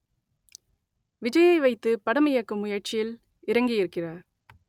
விஜய்யை வைத்து படம் இயக்கும் முயற்சியில் இறங்கியிருக்கிறார்